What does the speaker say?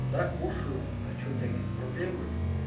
да кушаю а что у тебя какие-то проблемы